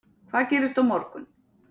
Hvað gerist á morgun?